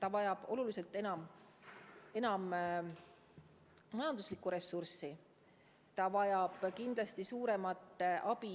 Ta vajab oluliselt enam majanduslikku ressurssi, ta vajab kindlasti suuremat abi